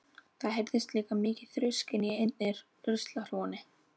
Það heyrðist líka mikið þrusk inni í einni ruslahrúgunni.